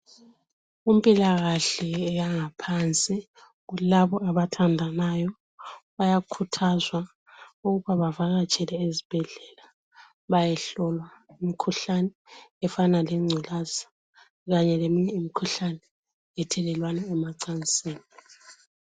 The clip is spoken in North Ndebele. Kumpilakahle yangaphansi kulabo abathandanayo bayakhuthazwa ukuba bavakatshele ezibhendlela bayehlolwa umkhuhlane efana lengculaza Kanye leminye imikhuhlane ethelelwana ocansini